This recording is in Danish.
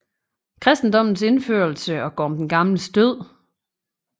Kristendommens indførelse og Gorm den Gamles død